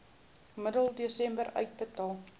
middel desember uitbetaal